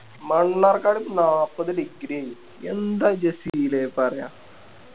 മണ്ണാർക്കാട് നാപ്പത് Degree ഏയ് എന്താ ജസീലെ പറയാ